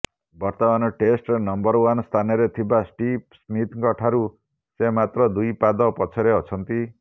ବର୍ତ୍ତମାନ ଟେଷ୍ଟରେ number one ସ୍ଥାନରେ ଥିବା ଷ୍ଟିଭ୍ ସ୍ମିଥଙ୍କଠାରୁ ସେ ମାତ୍ର ଦୁଇ ପାଦ ପଛରେ ଅଛନ୍ତି